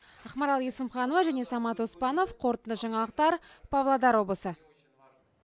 ақмарал есімханова және самат оспанов қорытынды жаңалықтар павлодар облысы